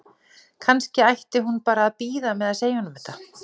Kannski ætti hún bara að bíða með að segja honum þetta?